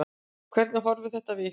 Hvernig horfir þetta við ykkur?